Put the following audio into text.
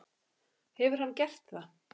Hefur hann gert það?